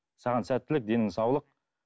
саған сәттілік деніңе саулық